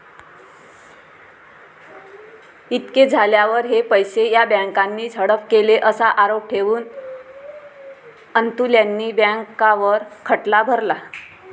इतके झाल्यावर हे पैसे या बँकानीच हडप केले असा आरोप ठेवून अन्तुल्यांनी बँकांवर खटला भरला.